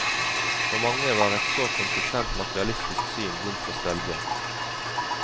For mange var et så konsekvent materialistisk syn vondt å svelge.